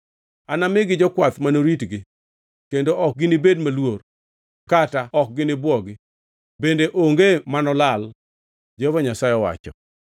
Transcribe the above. Anamigi jokwath manoritgi, kendo ok ginibed maluor kata ok ginibwogi, bende onge manolal,” Jehova Nyasaye owacho.